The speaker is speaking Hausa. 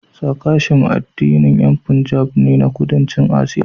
Sikhism addinin yan Punjab ne na Kudancin Asiya